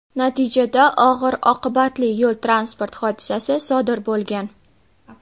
Natijada og‘ir oqibatli yo‘l transport hodisasi sodir bo‘lgan.